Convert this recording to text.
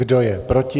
Kdo je proti?